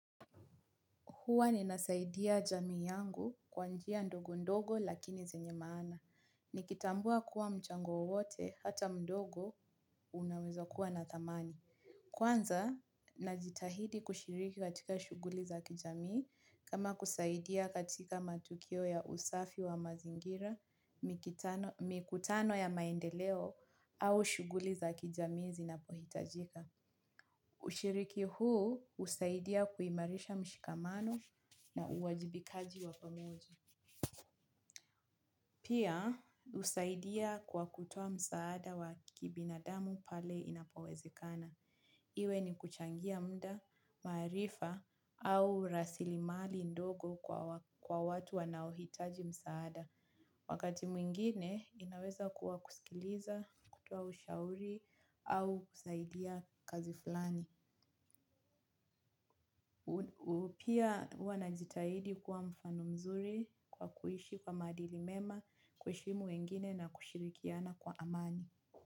Huwa ninasaidia jamii yangu kwa njia ndogo ndogo lakini zenye maana. Nikitambua kuwa mchango wowote hata mdogo unaweza kuwa na dhamani. Kwanza, najitahidi kushiriki katika shughuli za kijamii kama kusaidia katika matukio ya usafi wa mazingira, mikutano ya maendeleo au shughuli za kijamii zinapohitajika. Ushiriki huu husaidia kuimarisha mshikamano na uwajibikaji wa pamoja. Pia, husaidia kwa kutoa msaada wa kibinadamu pale inapowezekana. Iwe ni kuchangia muda, maarifa au rasili mali ndogo kwa watu wanaohitaji msaada. Wakati mwingine, inaweza kuwa kusikiliza, kutoa ushauri au kusaidia kazi fulani. Pia huwa najitahidi kuwa mfano mzuri kwa kuishi kwa maadili mema kiheshimu wengine na kushirikiana kwa amani.